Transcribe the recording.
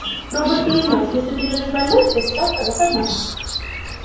робот произнёс если ты лежишь больной если завтра выходной